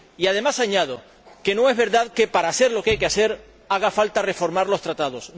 Y, además, añado, que no es verdad que para hacer lo que hay que hacer haga falta reformar los Tratados.